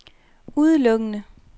udelukkende